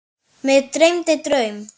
Mig dreymdi draum.